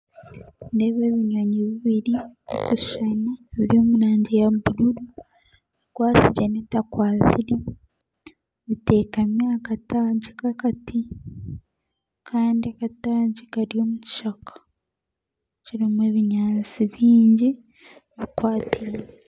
Nindeeba ebinyonyi bibiri birikushushana biri omurangi ya bururu ekwasire n'etakwasire bitekami aha kataagi k'akati kandi akataagi Kari omu kishaka kirimu ebinyansi bingi bikwatiine.